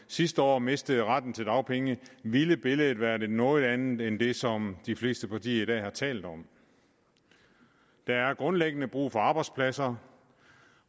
sidste år mistede retten til dagpenge ville billedet være et noget andet end det som de fleste partier i dag har talt om der er grundlæggende brug for arbejdspladser